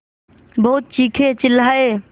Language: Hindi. बहुत चीखेचिल्लाये